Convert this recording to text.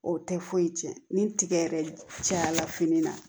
O tɛ foyi tiɲɛ ni tiga yɛrɛ cayara fini na